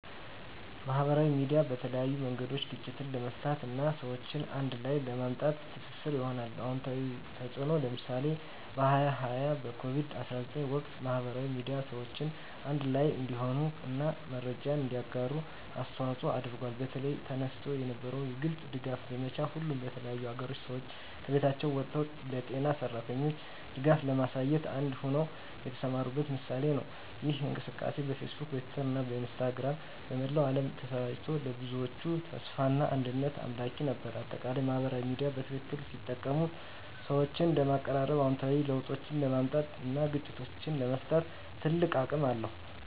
ማህበራዊ ሚዲያ በተለያዩ መንገዶች ግጭትን ለመፍታት እና ሰዎችን አንድ ላይ ለማምጣት ትስስር ሆኗል። #*አዎንታዊ ተፅዕኖ (ምሳሌ) በ2020 በኮቪድ-19 ወቅት፣ ማህበራዊ ሚዲያ ሰዎችን አንድ ላይ እንዲሆኑ እና መረጃን እንዲያጋሩ አስተዋፅዖ አድርጓል። በተለይ፣ ተነስቶ የነበረው የግልጽ ድጋፍ ዘመቻ፣ ሁሉም የተለያዩ አገሮች ሰዎች ከቤቶቻቸው ወጥተው ለጤና ሠራተኞች ድጋፍ ለማሳየት አንድ ሆነው የተሰማሩበት ምሳሌ ነው። ይህ እንቅስቃሴ በፌስቡክ፣ በትዊተር እና በኢንስታግራም በመላው ዓለም ተሰራጭቶ፣ ለብዙዎች ተስፋና አንድነት አምላኪ ነበር። በአጠቃላይ፣ ማህበራዊ ሚዲያ በትክክል ሲጠቀም ሰዎችን ለማቀራረብ፣ አዎንታዊ ለውጦችን ለማምጣት እና ግጭቶችን ለመፍታት ትልቅ አቅም አለው።